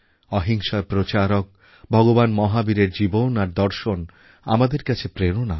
অহিংসার প্রচারক ভগবান মহাবীরের জীবন আর দর্শন আমাদের কাছে প্রেরণা